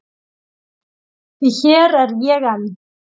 Því hér er ég enn.